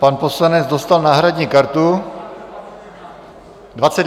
Pan poslanec dostal náhradní kartu.